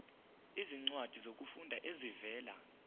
izincwadi zokufunda ezivela